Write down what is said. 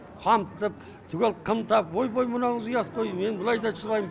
қамтып түгел қымтап ойбай мынауыңыз ұят қой мен былай да шыдайм